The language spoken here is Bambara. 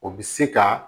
O bi se ka